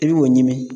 I b'o ɲini